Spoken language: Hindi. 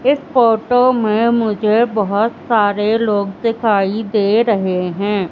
इस फोटो में मुझे बहोत सारे लोग दिखाई दे रहे हैं।